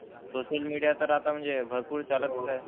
Social media तर आता म्हणजे भरपूर चालतच आहे.